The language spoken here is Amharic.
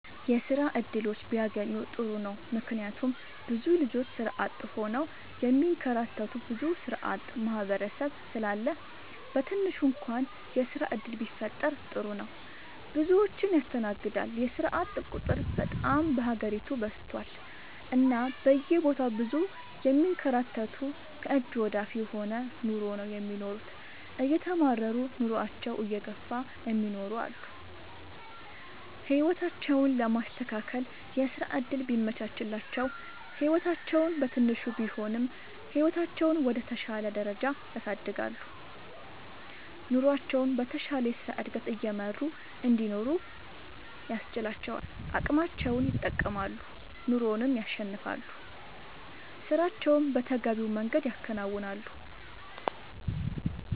የስራ እድሎች ቢያገኙ ጥሩ ነው ምክንያቱም ብዙ ልጆች ስራ አጥ ሆነው የሚንከራተቱ ብዙ ስራአጥ ማህበረሰብ ስላለ በትንሹ እንኳን የስራ ዕድል ቢፈጠር ጥሩ ነው። ብዙዎችን ያስተናግዳል የስራአጥ ቁጥር በጣም በሀገሪቱ በዝቷል እና በየቦታው ብዙ የሚንከራተቱ ከእጅ ወደ አፍ የሆነ ኑሮ ነው የሚኖሩት እየተማረሩ ኑሮአቸውን እየገፍ እሚኖሩ አሉ። ህይወታቸውን ለማስተካከል የስራ ዕድል ቢመቻችላቸው ህይወታቸውን በትንሹም ቢሆን ህይወታቸውን ወደ ተሻለ ደረጃ ያሳድጋሉ። ኑሮቸውን በተሻለ የስራ ዕድገት እየመሩ እንዲኖሩ ያስችላቸዋል አቅማቸውን ይጠቀማሉ ኑሮንም ያሸንፋሉ። ስራቸውን በተገቢው መንገድ ያከናውናሉ።…ተጨማሪ ይመልከቱ